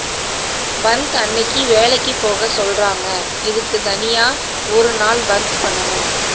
பந்த் அன்னைக்கு வேலைக்கு போக சொல்றாங்க இதுக்கு தனியா ஒரு நாள் பந்த் பண்ணனும்